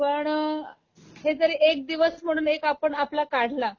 पण, हे जर एक दिवस म्हणून एक आपण आपला काढला